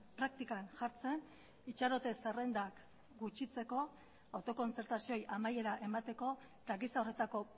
praktikan jartzen itxarote zerrendak gutxitzeko autokontzertazioei amaiera emateko eta gisa horretako